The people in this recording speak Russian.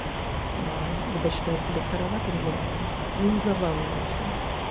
аа ибо считать себя староватым для этого но забавный очень